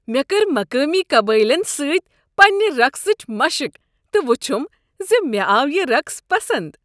مےٚ کٔر مقٲمی قبٲیلن سۭتۍ پنٛنہ رقصٕچ مشق تہٕ وچھم زِ مےٚ آو یہ رقص پسنٛد۔